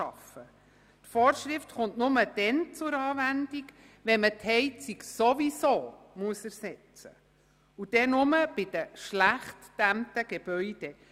Die Vorschrift kommt nur dann zur Anwendung, wenn die Heizung ohnehin ersetzt werden muss, und zwar nur bei den schlecht gedämmten Gebäuden.